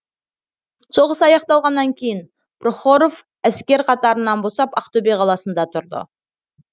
соғыс аяқталғаннан кейін прохоров әскер қатарынан босап ақтөбе қаласында тұрды